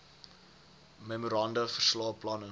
memoranda verslae planne